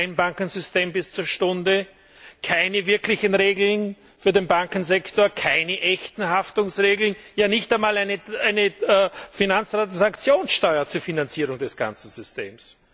Kein Trennbankensystem bis zur Stunde, keine wirklichen Regeln für den Bankensektor, keine echten Haftungsregeln, ja nicht einmal eine Finanztransaktionssteuer zur Finanzierung des ganzen Systems!